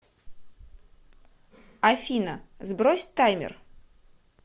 афина сбрось таймер